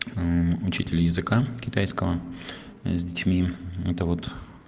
учителя языка китайского с детьми это вот